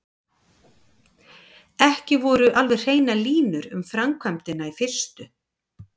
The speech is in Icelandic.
Ekki voru alveg hreinar línur um framkvæmdina í fyrstu.